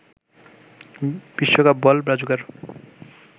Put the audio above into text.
বিশ্বকাপ বল ব্রাজুকার